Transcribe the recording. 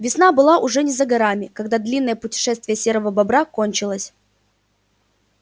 весна была уже не за горами когда длинное путешествие серого бобра кончилось